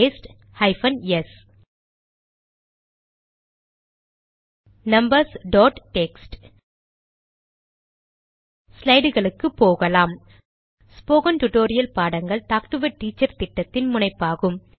paste hyphen s numbers dot text ஸ்லைடுகளுக்கு போகலாம் spoken tutorial பாடங்கள் டாக்டு எ டீச்சர் திட்டத்தின் முனைப்பாகும்